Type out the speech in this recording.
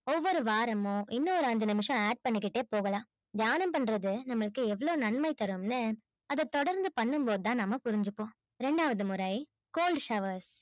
ஒவ்வொரு வாரமும் இன்னொரு ஐஞ்சு நிமிஷம் add பண்ணிக்கிட்டே போகலாம். தியானம் பண்றது நம்மளுக்கு எவ்ளோ நன்மை தரும் னு அத தொடர்ந்து பண்ணும்போது தான் நம்ம புரிஞ்சிப்போம் ரெண்டாவது முறை cold shower